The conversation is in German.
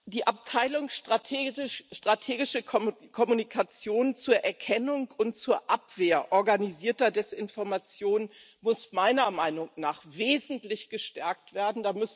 Die Abteilung Strategische Kommunikation zur Erkennung und zur Abwehr organisierter Desinformation muss meiner Meinung nach wesentlich gestärkt werden.